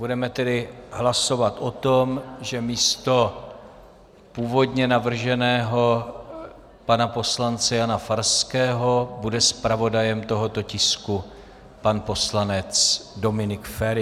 Budeme tedy hlasovat o tom, že místo původně navrženého pana poslance Jana Farského bude zpravodajem tohoto tisku pan poslanec Dominik Feri.